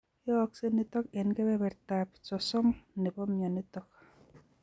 Yooksei nitok eng' kebebertap 30% nebo mionitok